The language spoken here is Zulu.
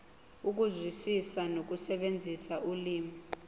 ukuzwisisa nokusebenzisa ulimi